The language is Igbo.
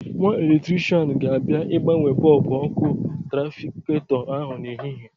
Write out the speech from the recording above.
Nwa eletrishian ga-abịa ịgbanwe bọbụ ọ́kụ́ trafiketọ ahụ n'ehihie.